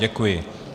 Děkuji.